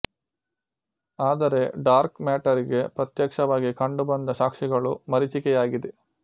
ಆದರೆ dark matter ಗೆ ಪ್ರತ್ಯಕ್ಷವಾಗಿ ಕಂಡುಬಂದ ಸಾಕ್ಷಿಗಳು ಮರೀಚಿಕೆಯಾಗಿದೆ